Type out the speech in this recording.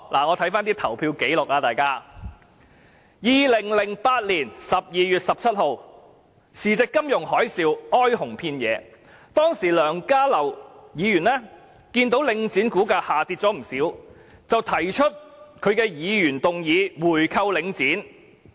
我翻查投票紀錄 ，2008 年12月17日，時值金融海嘯，哀鴻遍野，當時的梁家騮議員看到領匯股價下跌不少，便提出議案要求購回領匯。